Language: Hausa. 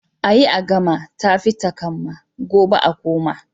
a yi a gama, ta fi takamma, gobe a koma